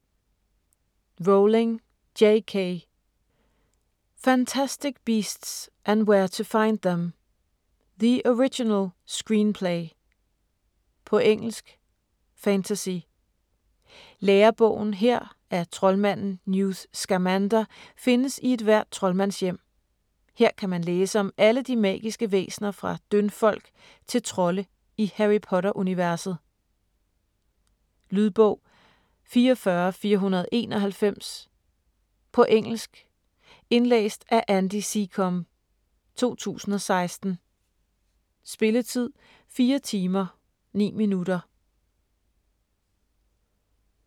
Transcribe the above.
Rowling, J. K.: Fantastic beasts and where to find them: the original screenplay På engelsk. Fantasy. Lærebogen her af troldmanden Newt Scamander findes i et hver troldmandshjem. Her kan man læse om alle de magiske væsner fra dyndfolk til trolde i Harry Potter universet. Lydbog 44491 På engelsk. Indlæst af Andy Secombe, 2016. Spilletid: 4 timer, 9 minutter.